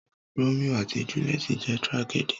Romio àti juliet jẹ́ tragedy.